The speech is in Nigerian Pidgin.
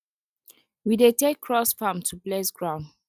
we dey take cross farm to bless ground